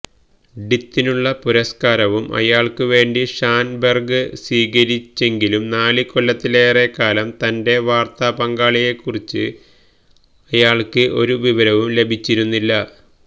ഡിത്തിനുള്ള പുരസ്കാരവും അയാള്ക്കുവേണ്ടി ഷാന്ബെര്ഗ് സ്വീകരിച്ചെങ്കിലും നാല് കൊല്ലത്തിലേറെക്കാലം തന്റെ വാര്ത്താപങ്കാളിയെക്കുറിച്ച് ആയാള്ക്ക് ഒരുവിവരവും ലഭിച്ചിരുന്നില്ല